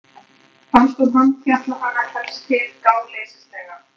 Fannst hún handfjatla hana helst til gáleysislega.